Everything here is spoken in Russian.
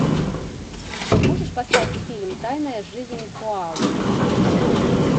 можешь поставить фильм тайная жизнь коалы